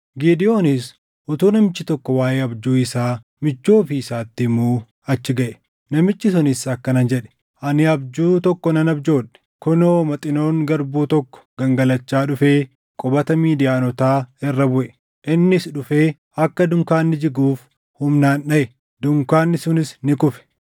Gidewoonis utuu namichi tokko waaʼee abjuu isaa michuu ofii isaatti himuu achi gaʼe. Namichi sunis akkana jedhe; “Ani abjuu tokko nan abjoodhe; kunoo maxinoon garbuu tokko gangalachaa dhufee qubata Midiyaanotaa irra buʼe. Innis dhufee akka dunkaanni jiguuf humnaan dhaʼe; dunkaanni sunis ni kufe.”